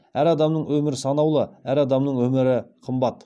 әр адамның өмірі санаулы әр адамның өмірі қымбат